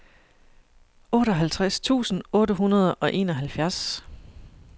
otteoghalvtreds tusind otte hundrede og enoghalvfjerds